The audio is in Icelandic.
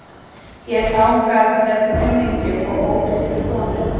Ég þangað með kunningjum og ófrískri konunni.